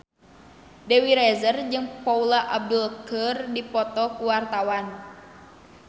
Dewi Rezer jeung Paula Abdul keur dipoto ku wartawan